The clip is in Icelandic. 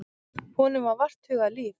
Honum var vart hugað líf.